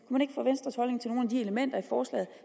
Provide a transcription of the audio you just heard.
de elementer i forslaget